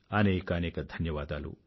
అనేకానేక ధన్యవాదాలు